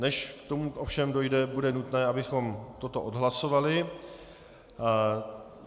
Než k tomu ovšem dojde, bude nutné, abychom toto odhlasovali.